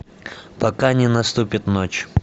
пока не наступит ночь